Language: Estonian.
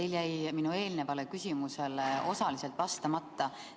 Teil jäi minu eelnevale küsimusele osaliselt vastamata.